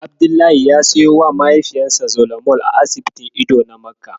Abdullahi ya siyowa mahaifinsa Zolamol a asibitin ido na Makka.